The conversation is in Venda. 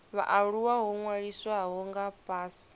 vhaaluwa ho ṅwalisiwaho nga fhasi